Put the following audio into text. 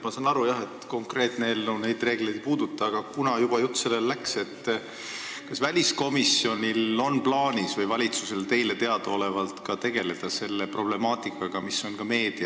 Ma saan aru jah, et konkreetne eelnõu neid reegleid ei puuduta, aga kuna jutt juba sellele läks, siis kas väliskomisjonil või valitsusel on teile teadaolevalt plaanis selle problemaatikaga tegeleda?